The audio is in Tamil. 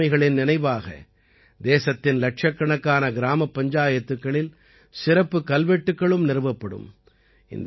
இந்த ஆளுமைகளின் நினைவாக தேசத்தின் இலட்சக்கணக்கான கிராமப் பஞ்சாயத்துக்களில் சிறப்புக் கல்வெட்டுக்களும் நிறுவப்படும்